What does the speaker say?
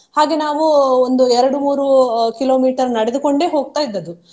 ಹಾಗೆ ನಾವು ಒಂದು ಎರಡು ಮೂರು ಅಹ್ kilometer ನಡೆದುಕೊಂಡೆ ಹೋಗ್ತಾ ಇದ್ದದ್ದು.